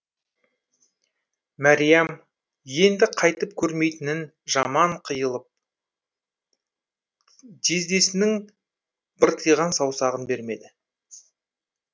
мәриям енді қайтып көрмейтіннен жаман қиылып жездесінің быртиған саусағын бермеді